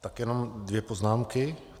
Tak jenom dvě poznámky.